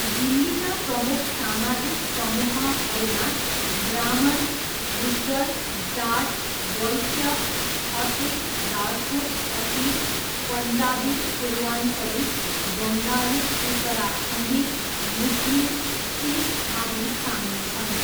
दिल्लीका प्रमुख सामाजिक समूहहरूमा ब्राह्मण, गुज्जर, जाट, वैश्य, खत्री, राजपूत, अहिर, पन्जाबी, पूर्वाञ्चली, बङ्गाली, उत्तराखण्डी, मुस्लिम, सिख आदि सामेल छन्।